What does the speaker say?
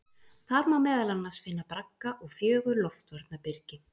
Þar má meðal annars finna bragga og fjögur loftvarnarbyrgi.